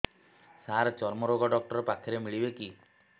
ସାର ଚର୍ମରୋଗ ଡକ୍ଟର ପାଖରେ ମିଳିବେ କି